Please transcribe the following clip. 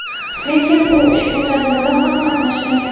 Lekin u ushbu tadbirda ham qatnashmagan.